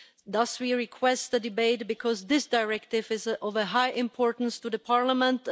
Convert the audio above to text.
Thus we request the debate because this directive is of high importance to Parliament.